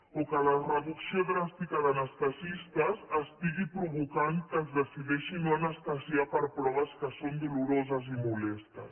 o que la reducció dràstica d’anestesistes estigui provocant que es decideixi no anestesiar per proves que són doloroses i molestes